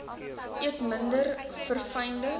eet minder verfynde